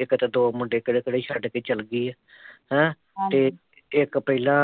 ਇਕਦੇ ਦੋ ਮੁੰਡੇ ਕੱਲੇ ਕੱਲੇ ਛੱਡ ਕੇ ਚੱਲ ਗਈ ਐ ਹੈਂ ਹਮ ਤੇ ਇੱਕ ਪਹਿਲਾਂ